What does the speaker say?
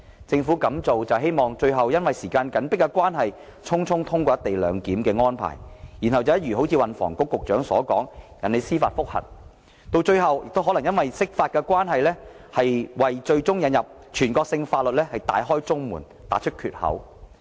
政府這樣做無非是想最終會因時間緊迫，而令"一地兩檢"安排得以匆匆通過，然後便如運輸及房屋局局長所說，引起司法覆核，甚至可能因釋法而為引入全國性法律大開中門，打開缺口。